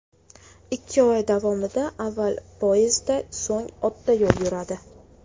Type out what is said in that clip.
Ikki oy davomida avval poyezdda, so‘ng otda yo‘l yuradi.